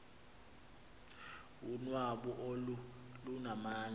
unwabu olu lunamandla